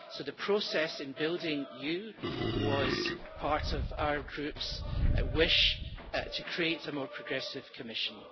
So the process in building you was part of our groups' wish to create a more progressive Commission.